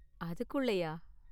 அதுக்குள்ளயா?